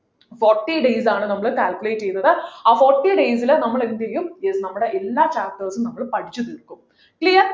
forty days ആണ് നമ്മൾ claculate ചെയ്തത് ആ forty days ലു നമ്മൾ എന്ത് ചെയ്യു yes നമ്മുടെ എല്ലാ chapters ഉം നമ്മൾ പഠിച്ചു തീർക്കും clear